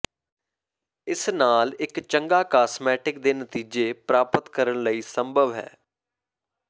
ਇਸ ਨਾਲ ਇੱਕ ਚੰਗਾ ਕਾਸਮੈਟਿਕ ਦੇ ਨਤੀਜੇ ਪ੍ਰਾਪਤ ਕਰਨ ਲਈ ਸੰਭਵ ਹੈ